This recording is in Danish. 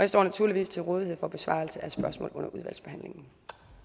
står naturligvis til rådighed for besvarelse af spørgsmål under udvalgsbehandlingen